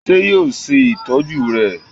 ṣe yoo ṣe itọju rẹ?